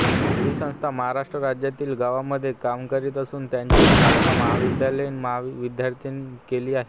ही संस्था महाराष्ट्र राज्यातील गावांमध्ये काम करीत असून त्याची स्थापना महाविद्यालयीन विद्यार्थ्यांनी केली आहे